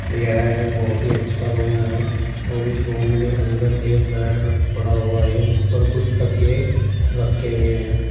यह एक बहुत ही अच्छा रूम है और इस रूम के अंदर एक बेड पड़ा हुआ है जिस पर कुछ तकिए रखें हुए हैं।